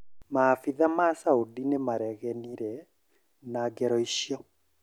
Maabitha ma Saudi nĩmaregenire na ngero ĩcio